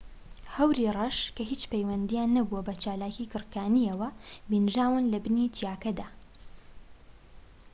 هەوری ڕەش کە هیچ پەیوەندیان نەبووە بە چالاکیی گڕکانییەوە بینراون لە بنی چیاکەدا